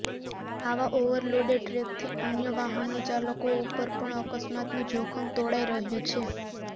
આવા ઓવરલોડેડ ટ્રકથી અન્ય વાહનોચાલકો ઉપર પણ અકસ્માતનું જોખમ તોળાઈ રહ્યું છે